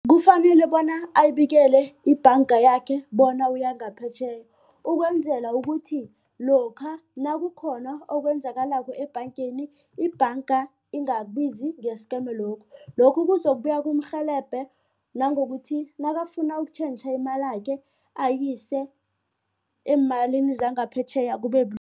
Kufanele bona ayibikele ibhanga yakhe bona uya ngaphetjheya ukwenzela ukuthi lokha nakukhona okwenzakalako ebhangeni, ibhanga ingabizi ngesi-scammer loop. Lokhu kuzokubuye kumrhelebha nangokuthi nakafuna ukutjhentjha imalakhe ayise eemalini zangaphetjheya